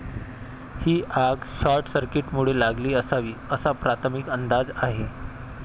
ही आग शॉर्टसर्किटमुळे लागली असावी, असा प्राथमिक अंदाज आहे.